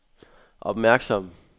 opmærksom